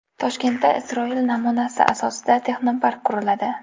Toshkentda Isroil namunasi asosidagi texnopark quriladi.